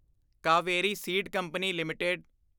Kaveri seed company LTD